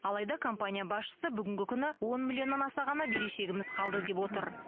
алайда компания басшысы бүгінгі күні он миллионнан аса ғана берешегіміз қалды деп отыр